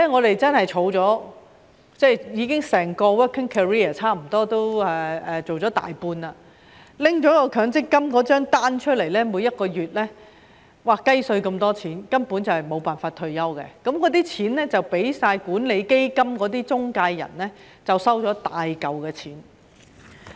我整個 working career 已過了差不多大半，拿強積金帳單出來看，每個月只有"雞碎"那麼多錢，根本沒有辦法退休，大部分金錢都落入管理基金中介人的口袋。